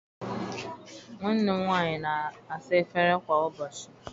Nwanne m nwaanyị na-asa efere kwa ụbọchị